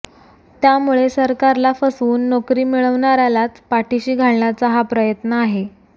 त्यामुळे सरकारला फसवून नोकरी मिळविणार्यालाच पाठिशी घालण्याचा हा प्रयत्न आहे